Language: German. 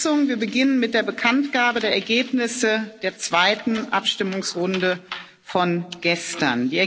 Wir beginnen mit der Bekanntgabe der Ergebnisse der zweiten Abstimmungsrunde von gestern.